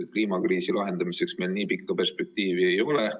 Kliimakriisi lahendamiseks meil nii pikka perspektiivi ei ole.